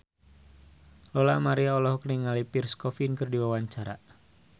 Lola Amaria olohok ningali Pierre Coffin keur diwawancara